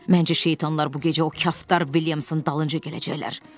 Məncə şeytanlar bu gecə o Kaftar Viliamson dalınca gələcəklər.